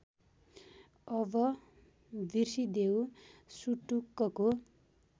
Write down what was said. अब बिर्सिदेऊ सुटुक्कको